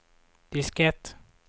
diskett